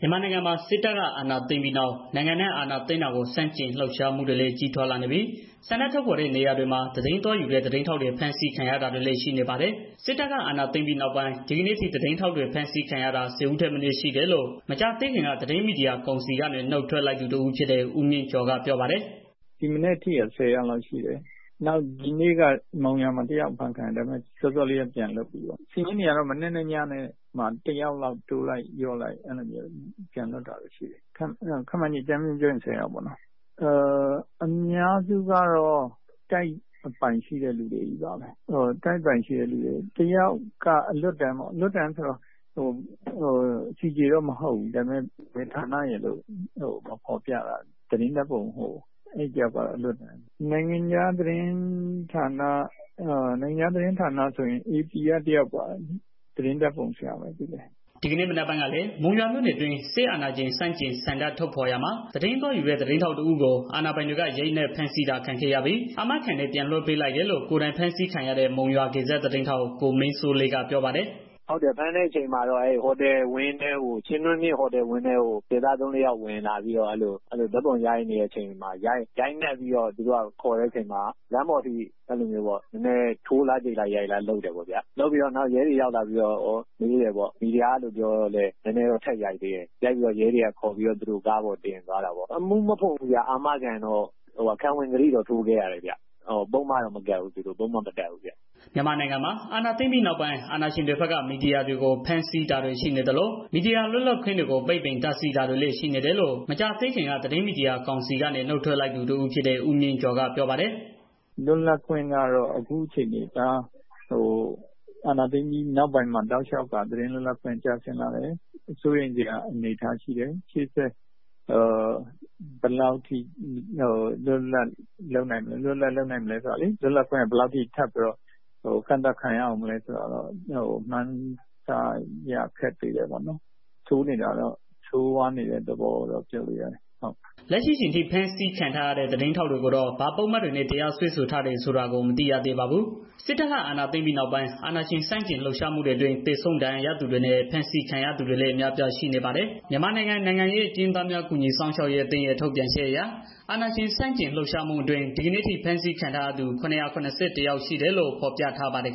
မြန်မာနိုင်ငံမှာ စစ်တပ်က အာဏာသိမ်းပြီးနောက် နိုင်ငံအနှံ့ အာဏာသိမ်းတာကို ဆန့်ကျန် လှုပ်ရှားမှုတွေကလည်း ကြီးထွားလာနေပြီး ဆန္ဒထုတ်ဖော်တဲ့နေရာတွေမှာ သတင်းသွားယူတဲ့ သတင်းတွေ ဖမ်းဆီးခံရတာတွေလည်း ရှိနေပါတယ်။ စစ်တပ်က အာဏာသိမ်းပြီးနောက်ပိုင်း ဒီကနေ့အထိ သတင်းထောက်တွေ ဖမ်းဆီးခံထားရတာ ၁၀ ဦးထက် မနည်း ရှိတယ်လို့ သတင်းမီဒီယာ ကောင်စီဝင်ဟောင်း တစ်ဦးဖြစ်တဲ့ ဦးမြင့်ကျော်က ပြောပါတယ်။ “ဒီမနက်အထိတော့ ၁၀ ယောက်လောက် ရှိတယ်။ မနက်ပိုင်းက မုံရွာမှာ တစ်ယောက် အဖမ်းခံရတယ်။ ဒါပေမဲ့ စောစောက ပြန်လွတ်လာတယ်။ အခြေအနေကတော့ မနက်နဲ့ ညမှာ တစ်ယောက်လောက် တိုးလိုက် လျော့လိုက်နဲ့ အဲဒီလိုမျိုး ပြန်လွတ်တာတွေ ရှိတယ်။ ခန့်မှန်းခြေ အကြမ်းဖျင်းပြောရင် ၁၀ ယောက်ပေါ့နော်။ အများစုကတော့ တိုက်ပိုင်ရှိတဲ့ သူတွေကြီးပါပဲ။ တစ်ယောက်ကတော့ အလွတ်တန်း။ ဒါပေမဲ့ CJ တော့ မဟုတ်ဘူး။ ဘယ်ဌာနရယ်လို့ မဖော်ပြတာ တစ်ယောက်ပေါ့။ နိုင်ငံခြား သတင်းဌာနဆိုရင် AP က ဓာတ်ပုံ ဆရာ တစ်ယောက်ရှိတယ်။ သူလည်း မလွတ်သေးဘူး။” ဒီကနေ့ မနက်ပိုင်းကလည်း မုံရွာမြို့နယ်အတွင်း အာဏာရှင်ဆန့်ကျင်ဆန္ဒထုတ်ဖော်ရာမှာ သတင်းသွားယူတဲ့ သတင်းထောက် တစ်ဦးကို အာဏာပိုင်တွေက ရိုက်နှက်ဖမ်းဆီးတာခံခဲ့ ရပြီး အာမခံနဲ့ ပြတ်လွတ်လိုက်တယ်လို့ ကိုယ်တိုင်ဖမ်းဆီးခံရတဲ့ မုံရွာဂေဇတ် သတင်းထောက် ကိုမင်းစိုးလေးက ပြောပါတယ်။ “ဖမ်းတဲ့အချိန်မှာတော့ ဟိုတယ်ဝန်းထဲကို စစ်သား သုံးလေးယောက် ဝင်လာပြီးတော့ ရိုက်နှက်ပြီးတော့ ခေါ်နေတဲ့ အချိန် လမ်းပေါ်အထိ ထိုးလား၊ ကျိတ်လား လုပ်တယ်ပေါ့။ လုပ်ပြီးတော့ နောက်ရဲတွေ ရောက်လာပြီးတော့ မီဒီယာလို့ပြောတော့လည်း နည်းနည်းတော့ ထပ်ရိုက်သေးတယ်။ ရိုက်ပြီးတော့ ရဲတွေက ခေါ်ပြီးတော့ သူတို့ ကားပေါ် တင်သွားတာပေါ့။ အမှုတော့ မဖွင့်ဘူး။ အာမခံနဲ့ ခံဝန်ကတိတော့ ထိုးခဲ့ရတယ်။ ပုဒ်မတော့ မတပ်ဘူးဗျာ။” မြန်မာနိုင်ငံမှာ အာဏာသိမ်းပြီးနောက်ပိုင်း အာဏာရှင်တွေဘက်က မီယာတွေကို ဖမ်းဆီးတာ တရားစွဲဆိုတာတွေ ရှိနေသလို မီဒီယာလွတ်လပ်ခွင့်တွေကို ပိတ်ပင်တားဆီးလာတာတွေလည်း ရှိနေတယ်လို့ သတင်းမီဒီယာ ကောင်စီဝင်ဟောင်း တစ်ဦးဖြစ်တဲ့ ဦးမြင့်ကျော်က ပြောပါတယ်။ “သတင်းလွတ်လပ်ခွင့်ကတော့ အခုအခြေအနေအရ အာဏာသိမ်းပြီးနောက်ပိုင်းမှာ တောက်လျှောက်က သတင်းလွတ်လပ်ခွင့် ကျဆင်းလာတယ်။ စိုးရိမ်စရာ အနေအထားရှိတယ်။ ရှေ့လျှောက် သတင်းလွတ်လပ်ခွင့်က ဘယ်လောက်ထိ ကန့်သတ်ခံရမလဲ ဆိုတာကတော့ မှန်းဆရ ခက်သေးတယ်ပေါ့နော်။ လက်ရှိမှာတော့ ဆိုးရွားနေတဲ့ သဘောလို့ ပြောလို့ရတယ်။” စစ်တပ်က အာဏာသိမ်းပြီးနောက်ပိုင်း မြန်မာနိုင်ငံအနှံ့မှာ ဒီကနေ့အထိ အာဏာရှင် ဆန့်ကျင်လှုပ်ရှားမှူတွေလည်း ကြီးထွားလာနေသလို လှုပ်ရှားမှုတွေအတွင်း သေဆုံး ဒဏ်ရာရသူတွေနဲ့ ဖမ်းဆီးခံရသူတွေ အများအပြားရှိပါတယ်။ မြန်မာနိုင်ငံ နိုင်ငံရေး အကျဉ်းသားဟောင်း ကူညီစောင့်ရှောက်ရေး အဖွဲ့ရဲ့ ထုတ်ပြန်ချက်အရ အာဏာရှင် ဆန့်ကျင်လှုပ်ရှားမှုအတွင်း ဒီကနေ့အထိ ဖမ်းဆီးခံထားရသူ ၇၇၁ ယောက်ရှိတယ်လို့ ဖော်ပြထားပါတယ်